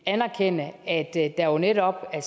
anerkende at der jo netop